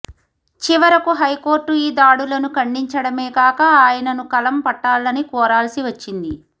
చివరకు హైకోర్టు ఈ దాడులను ఖండించడమేకాక ఆయనను కలం పట్టాలని కోరాల్సి వచ్చింది